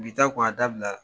Bi taa kɔ a dabilala